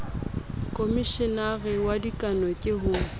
khomeshenara wa dikano ke ho